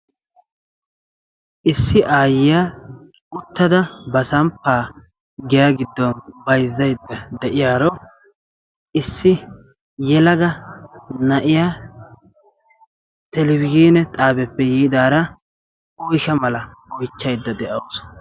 Issi aayyiya uttada ba samppaa giya gidon bayzzaydda de'iyaaro issi yelaga na'iyaa televizhiine xaabeppe yiidara oyshsha mala oychchaydda de'awusu.